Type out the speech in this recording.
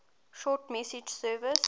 short message service